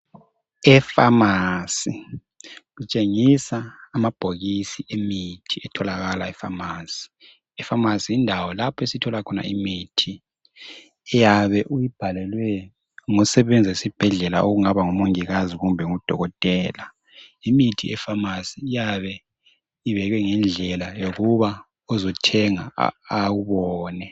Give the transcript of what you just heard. Epharmacy kutshengisa amabhokisi emithi etholakala epharmacy epharmacy yindawo lapho esithola khona imithi oyabe uyibhalelwe ngosebenza esibhedlela kungaba ngumongikazi kumbe udokotela imithi yePharmacy iyabe ibekwe ngendlela yokuba ozothenga awubone